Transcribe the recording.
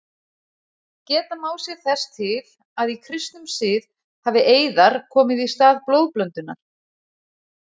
Geta má sér þess til að í kristnum sið hafi eiðar komið í stað blóðblöndunar.